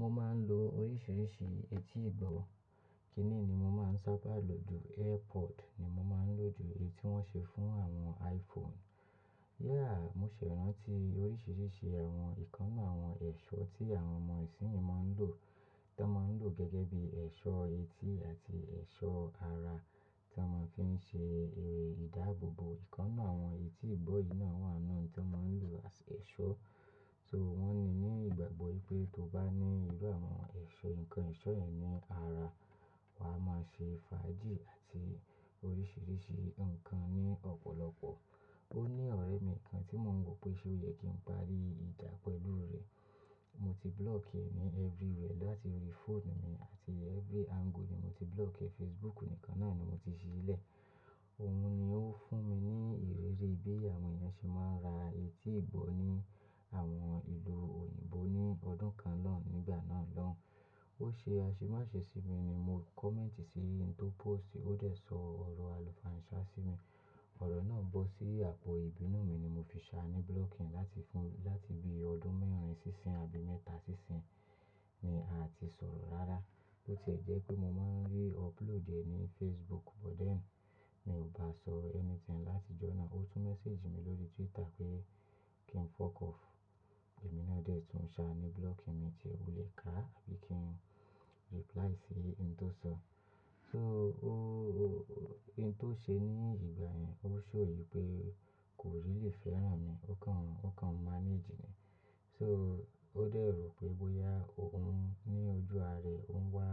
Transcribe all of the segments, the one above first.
Mo máa ń lo oríṣiríṣi etí ìbọ̀. Kíni ni mo máa ń sábà lò ju? AirPod ni mo ń lò ju, eyí ti wọ́n ṣe fún àwọn iPhone. Yeah, mo ṣẹ̀ ranti oríṣiríṣi àwọn ìkannà àwọn ẹ̀ṣọ́ tí àwọn ọmọ ìsìnyìn máa ń lò, tí o ń lò gẹ́gẹ́ bí ẹ̀ṣọ́ etí àti ẹ̀ṣọ́ ara tí wọ́n ki ń ṣe eré ìdáàbòbò. Ìkannà àwọn etí ìbọ̀ yìí náà wà nínú tí wọ́n maa ń lò as ẹ̀ṣọ́. So mo yii ní ìgbàgbọ́ wípé tó bá ní irú àwọn ẹ̀ṣọ́, nǹkan eṣọ́ yẹn ní ara, wà á máa ṣe fàájì àti oríṣiríṣi nǹkan ní ọ̀pọ̀lọpọ̀. Ó ní ọ̀rẹ́ mi kan tí mò ń wò pé ṣe ó yẹ kí n parí ìjá pẹ̀lú rẹ̀. Mo ti block ẹ ní everywhere láti orí phone mi àti every angle ni mo ti block ẹ. Facebook nìkan náà ni mo ti sílẹ̀. Òun ni ó fún mi ní ìrírí bí àwọn èèyàn ṣe máa ń ra etí ìbọ̀ ní àwọn ìlú òyìnbó ní ọdún kan naa, nígbà náà lọ́hun. Ó ṣe aṣemáṣe sí mi ni mo comment sí ẹni tó post, ó dẹ̀ sọ ọ̀rọ̀ àlùfáà Ìṣá sí mi. Ọ̀rọ̀ náà bọ́ sí àpò ìbínú mi ni mo fi ṣáá ní blocking láti fún-- láti bí ọdún mẹ́rin síṣin àbí mẹ́ta síṣin ni a ti sọ̀rọ̀ rárá. Ó tiẹ̀ jẹ́ pé mo máa ń rí upload ẹ ní Facebook, but then mi ò bá sọro anything láti ijọ́na. Ó tún message mi lórí Twitter pé kí n fuck off. Èmi náà dẹ̀ tún ṣáá ní blocking mi tìẹ. Ó lè ká àbí kí n reply sí ẹni tó so. So óóó-- ẹyi tó ṣe ní ìgbà yẹn, ó show wipé kò really fẹ́ràn mi. Òun ni ó fún mi ní ìrírí bí àwọn èèyàn ṣe máa ń ra etí ìbọ̀ ní àwọn ìlú òyìnbó ní ọdún kan na, nígbà náà lọ́ un. So ó dẹ̀ rò pé bóyá òun ní ojú ara ẹ̀ o ń wá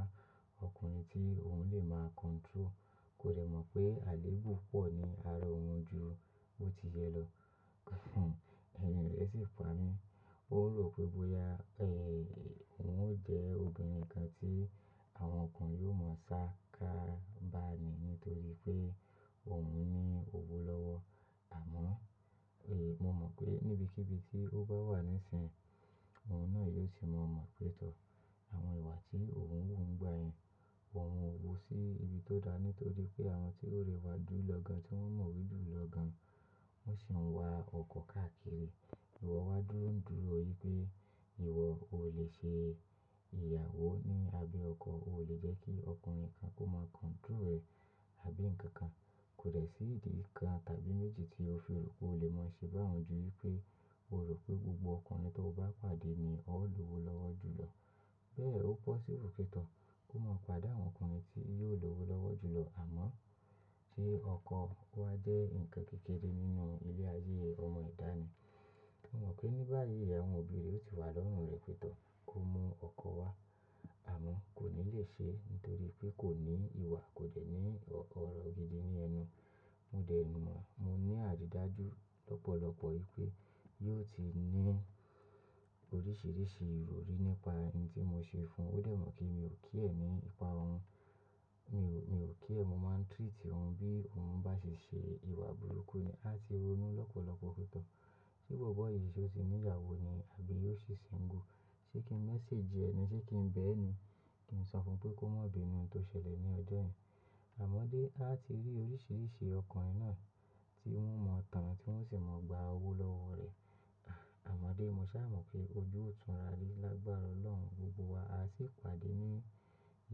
ọkùnrin tí òun lè máa control. Kò dẹ̀ mọ̀ pé àléébù pọ̀ ní ara òun ju bó ti yẹ lọ. Ẹrin rẹ̀ sì pa mí. Ó rò pé bóyá, eh, òun ó jẹ́ obìnrin kan tí àwọn ọkùnrin yóò mọ̀ sá ká ba ni nítorí pé òun ní owó lọ́wọ́. Àmọ́, eh, mo mọ̀ pé níbi kí ibi tí ó bá wà nísíyin, òun náà yóò sì maa mọ̀ pé tọ. Àwọn ìwà tí òun wù n gbà yẹn, wọ̀ wọ́n wò sí ibi tó da nítorí pé àwọn tí ó rẹwà dúró lọ́ gán, tí wọ́n mọ̀ wí dúró lọ́ gán, wọ́n sì ń wa ọkọ káàkiri. Ìwọ wá dúró ń dúró i pé ìwọ ò lè ṣe ìyàwó ní abẹ́ ọkọ o. Iwo o lè jẹ́ kí ọkùnrin kan kó máa control rẹ̀ àbí nǹkan kan. Kò dẹ̀ sí ìdí kan tàbí méjì tí ó fi rò pé o lè mọ̀ sí bá awon ju ì pé o rò pé gbogbo ọkùnrin tí o bá pàdé ni ó lọ́wọ́ lowo julọ. Bẹ́ẹ̀ ó possible ki n tọ. Ó máa pade àwọn ọkùnrin tí yóò lowo lọ́wọ́ julọ. Àmọ́, sé ọkọ wá jẹ́ ǹnkan kékeré nínú ilé ayé ọmọ edá nì. Mi mọ̀ pé ní báyìí, àwọn obì re ti wà lọ́rùn rẹ̀ pẹ́ tọ, kó mú ọkọ wá. Àmọ́ kò ní lè ṣe nítorí pé kò ní ìwà, kò dẹ̀ ní ọrọ̀ gidi ní ẹnu. Mo dẹ̀ mọ̀, mo ní àrídájú lọ́pọ̀lọpọ̀ ì pé yóò ti ní oríṣiríṣi ìròrí nípa hin tí mo ṣe fún. Ó dẹ̀ mọ̀ pe mi ò care ní ipa òun. Mi ò, mi ò care, mo máa ń treat òun bí òun bá ṣe ṣe ìwà burúkú ni. A ti ronú lọ́pọ̀lọpọ̀ fun tọ. Sé bobo yí ṣe ó ti ní ìyàwó ni àbí yóò ṣi single? Sé kí n message ẹ ni, sé kí n bẹ̀ ẹ́ ni? Kí n sọ fún pé kó má bínú hin to ṣẹlẹ̀ ní ọjọ́ yen. Àmọ́dé a ti rí oríṣiríṣi ọkùnrin náà tí wọ́n maa tán, tí wọ́n sì maa gba owó lọ́wọ́ rẹ̀. Ha Àmọ́dé mo ṣà mọ̀ pé ojú ò tún rà ri lágbára Ọlọ́run gbogbo wa. A sì pàdé ní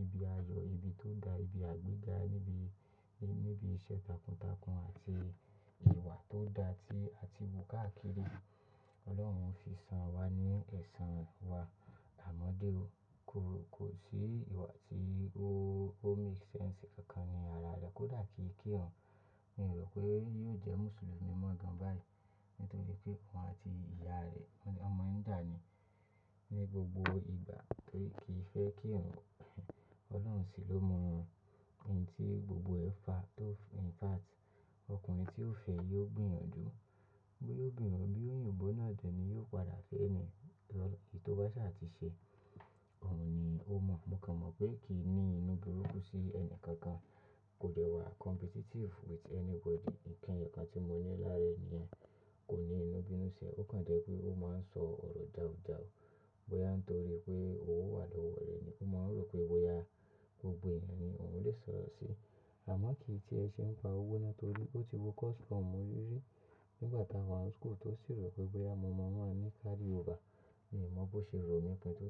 ibi ayọ̀, ibi tó da, ibi àgbéga, níbi, níbi iṣẹ́ takuntakun àti ìwà tó da, tí a ti wò káàkiri. Ọlọ́run fi san wá ní ẹ̀san wa. Àmọ́dé o, ko, kò sí ìwà tí ó, ó make sense kankan ní ara rẹ. Kò dà kí kírun. Mi o rò pé yóò jẹ́ Mùsùlùmí mọ́ gan báyìí nítorí pé òun àti ìyá rẹ̀ won maa n ja ní, ni gbogbo ìgbà torí kì í fẹ́ kírun, Ọlọ́run sì ló mọ òhun. Ẹni tí gbogbo ẹ fa, tó in fact, ọkùnrin tí ó fẹ́ yóò gbìyànjú. Boya obìnrín ni, bí òyìnbó náà de ni yóò padà fẹ́ ni to, iyi to bá ṣà ti ṣe. Òun ni ó mọ̀. Mo kàn mọ̀ pé kì í ní inú burúkú sí ẹni kankan. Kò dẹ̀ wà competitive with anybody. Nnkan eyọkàn tí mo rí lára ni yen, kò ní inú bínú sí ẹ. Ó kàn jẹ́ pé ó máa ń sọ ọ̀rọ̀ jàújàú bóyá n torí pé owó wà lọ́wọ́ rẹ̀ ni. Ó maa n rò pé bóyá gbogbo èèyàn ni òun lè sọ̀rọ̀ sí. Àmọ́ kì í ti ẹ ṣe ń pa owó náà torí ó ti wo custom orí rí nígbà tá wà n school tó sì rò pé bóyá mo maa maa ní carryover. Mi mọ̀ bó ṣe rò mi pin to.